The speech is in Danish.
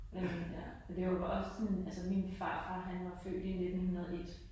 Jamen, ja. Det jo bare også sådan, min farfar han var født i 1901